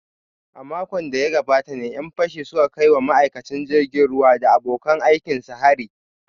A makon da ya gabata ne ‘yan fashin suka kai wa ma’aikacin jirgin ruwa da abokan aikinsa hari